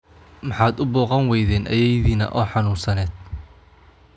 Maxaad u booqan weyden ayeeyadinaa oo xanunsaned